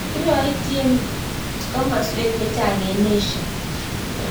kirotchi emeswek chechang eng' Asia